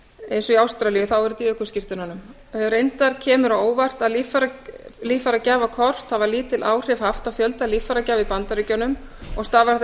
og í ástralíu þá er þetta í ökuskírteinunum reyndar kemur á óvart að líffæragjafakort hafa lítil áhrif haft á fjölda líffæragjafa í bandaríkjunum og stafar það